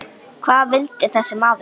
Hvað vildi þessi maður?